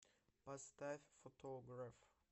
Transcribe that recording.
поставь фотограф